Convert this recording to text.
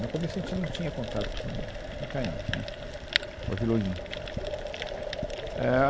No começo, a gente não tinha contato com, com o Itaim, né, com a Vila Olímpia. Éh ah